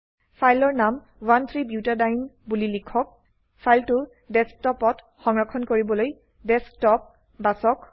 ফাইলৰ নাম 13 বুটাডিয়েনে বুলি লিখক ফাইলটো ডেস্কটপত সংৰক্ষণ কৰিবলৈ ডেস্কটপ বাছক